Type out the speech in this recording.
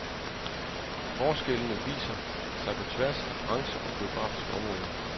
Forskellene viser sig på tværs af brancher og geografiske områder.